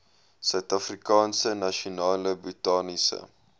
suidafrikaanse nasionale botaniese